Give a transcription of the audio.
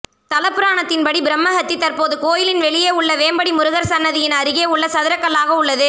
தலபுராணத்தின் படி பிரம்மஹத்தி தற்போது கோயிலின் வெளியே உள்ள வேம்படி முருகர் சந்நிதியின் அருகே உள்ள சதுரகல்லாக உள்ளது